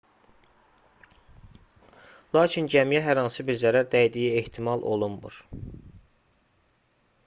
lakin gəmiyə hər hansı bir zərər dəydiyi ehtimal olunmur